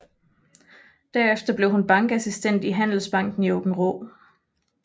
Derefter blev hun bankassistent i Handelsbanken i Aabenraa